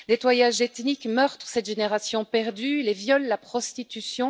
Nettoyage ethnique, meurtres, cette génération perdue, les viols, la prostitution...